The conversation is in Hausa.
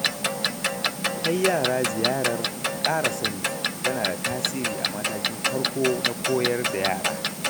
Kai yara ziyarar ƙara sani tana da tasiri a matakin farko na koyar da yara.